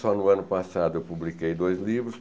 Só no ano passado eu publiquei dois livros.